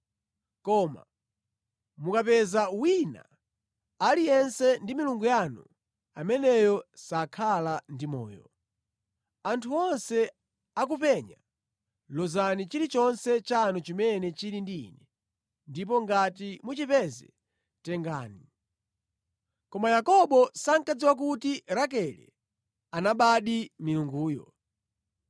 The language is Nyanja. Koma mukapeza wina aliyense ndi milungu yanu, ameneyo sakhala ndi moyo. Anthu onse akupenya, lozani chilichonse chanu chimene chili ndi ine, ndipo ngati muchipeze tengani. Koma Yakobo sankadziwa kuti Rakele anabadi milunguyo.”